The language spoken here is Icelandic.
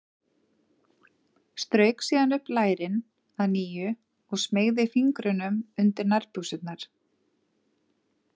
Strauk síðan upp lærin að nýju og smeygði fingrunum undir nærbuxurnar.